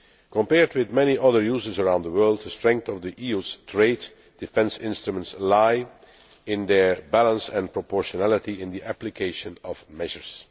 Compared with many other users around the world, the strength of the EU's trade defence instruments lies in their balance and proportionality in the application of measures.